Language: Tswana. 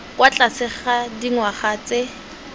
kwa tlase ga dingwaga tse